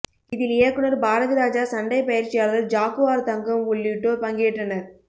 இதில் இயக்குனர் பாரதிராஜா சண்டை பயிற்சியாளர் ஜாக்குவார் தங்கம் உள்ளிட்டோர் பங்கேற்றனர்